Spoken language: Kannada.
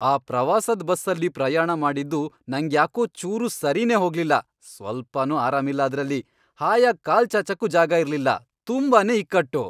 ಆ ಪ್ರವಾಸದ್ ಬಸ್ಸಲ್ಲಿ ಪ್ರಯಾಣ ಮಾಡಿದ್ದು ನಂಗ್ಯಾಕೋ ಚೂರೂ ಸರಿನೇ ಹೋಗ್ಲಿಲ್ಲ, ಸ್ವಲ್ಪನೂ ಆರಾಮಿಲ್ಲ ಅದ್ರಲ್ಲಿ, ಹಾಯಾಗ್ ಕಾಲ್ ಚಾಚಕ್ಕೂ ಜಾಗ ಇರ್ಲಿಲ್ಲ, ತುಂಬಾನೇ ಇಕ್ಕಟ್ಟು.